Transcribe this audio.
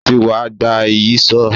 Ó ti wa gba Ìyíṣòó